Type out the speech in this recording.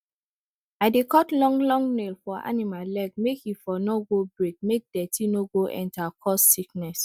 i dey cut long long nail for animal leg make e for no go break make dirty no go enter cause sickness